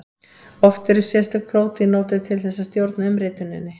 Oft eru sérstök prótín notuð til þess að stjórna umrituninni.